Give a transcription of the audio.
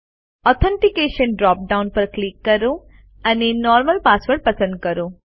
authentication drop down પર click કરો અને નોર્મલ પાસવર્ડ પસંદ કરો